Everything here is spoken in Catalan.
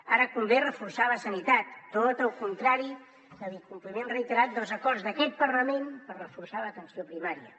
ara convé reforçar la sanitat tot el contrari de l’incompliment reiterat dels acords d’aquest parlament per reforçar l’atenció primària